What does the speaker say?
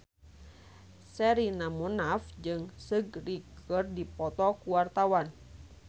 Sherina Munaf jeung Seungri keur dipoto ku wartawan